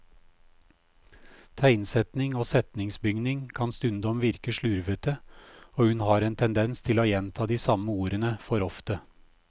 Tegnsetting og setningsbygning kan stundom virke slurvete, og hun har en tendens til å gjenta de samme ordene for ofte.